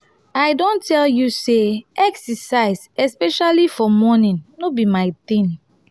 i don tell you say exercise especially for morning no be my thing